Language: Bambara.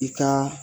I ka